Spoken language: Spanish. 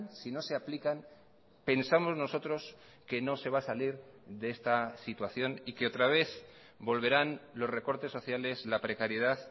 si no se aplican pensamos nosotros que no se va a salir de esta situación y que otra vez volverán los recortes sociales la precariedad